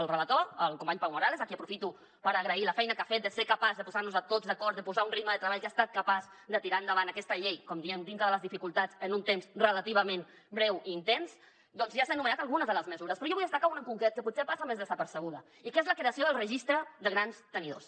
el relator el company pau morales a qui aprofito per agrair la feina que ha fet de ser capaç de posar nos tots d’acord de posar un ritme de treball que ha estat capaç de tirar endavant aquesta llei com diem dintre de les dificultats en un temps relativament breu i intens doncs ja ha anomenat algunes de les mesures però jo en vull destacar una en concret que potser passa més desapercebuda i que és la creació del registre de grans tenidors